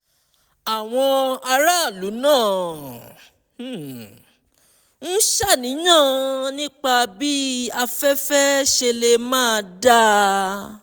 àwọn aráàlú náà ń ṣàníyàn nípa bí afẹ́fẹ́ ṣe lè máà dáa